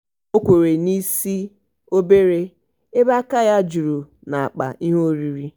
ọ kwere n'isi obere ebe aka ya juru n'akpa ihe oriri.